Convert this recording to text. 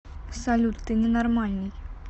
салют ты ненормальный